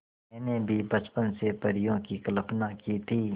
मैंने भी बचपन से परियों की कल्पना की थी